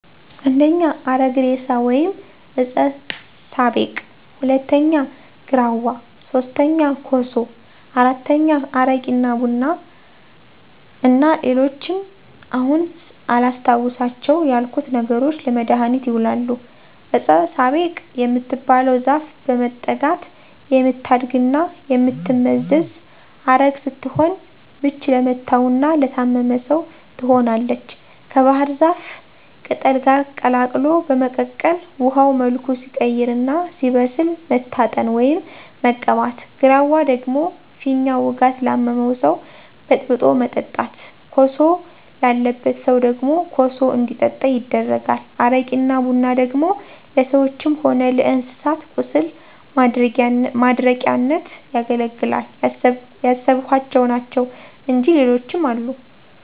1. አረግ እሬሳ ወይም ዕጸ ሳቤቅ፣ 2. ግራዋ፣ 3. ኮሶ፣ 4. አረቂ እና ቡና እና ሌሎችም አሁን አላስታውሳቸው ያልኩት ነገሮች ለመድሀኒትነት ይውላሉ። ዕጸ ሳቤቅ የምትባለው ዛፍ በመጠጋት የምታድግና የምትመዘዝ ዐረግ ስትሆን ምች ለመታውና ለታመመ ሰው ትሆናለች ከባሕር ዛፍ ቅጠል ጋር ቀላቅሎ በመቀቀል ውሀው መልኩ ሲቀይርና ሲበስል መታጠን፣ ወይም መቀባት። ግራዋ ደግሞ ፊኛ ውጋት ላመመው ሰው በጥብጦ ማጠጣት። ኮሶ ላለበት ሰው ደግሞ ኮሱ እንዲጠጣ ይደረጋል። አረቂና ቡና ደግሞ ለሰዎችም ሆነ ለእንስሳት ቁስል ማድረቂያነት ያገለግላል። ያሰብኋቸው ናቸው እንጅ ሌሎችም አሉ።